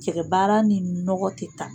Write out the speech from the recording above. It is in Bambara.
Cɛkɛbaara ni nɔgɔ tɛ taa.